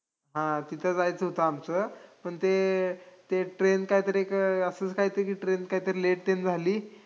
हां, तिथं जायचं होतं आमचं, पण ते ते train कायतरी अं असंच कायतरी train कायतरी late तेन झाली.